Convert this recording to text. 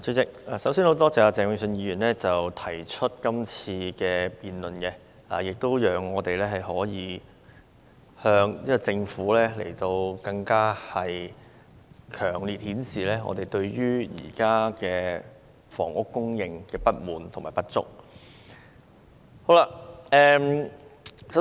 主席，首先，我感謝鄭泳舜議員今天提出這項議案辯論，讓我們可以向政府更強烈地表達對現時房屋供應不足的不滿。